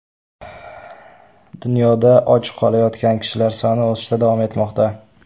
Dunyoda och qolayotgan kishilar soni o‘sishda davom etmoqda.